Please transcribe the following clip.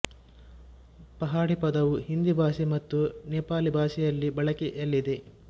ಪಹಾಡಿ ಪದವು ಹಿಂದಿ ಭಾಷೆ ಮತ್ತು ನೆಪಾಲಿ ಭಾಷೆಯಲ್ಲಿ ಬಳಕೆಯಲ್ಲಿದೆ